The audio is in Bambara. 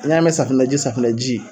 N y'a mɛ safinɛji safinɛji